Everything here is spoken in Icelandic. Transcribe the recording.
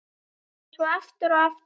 Og svo aftur og aftur.